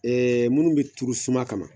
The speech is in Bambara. munnu be turu suma kama